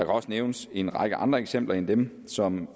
også nævnes en række andre eksempler end dem som